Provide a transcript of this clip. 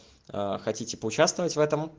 а хотите поучаствовать в этом